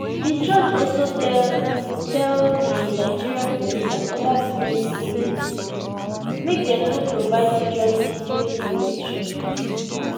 di judge also tell tell di nigeria police and oda security agencies make dem no provide security during di election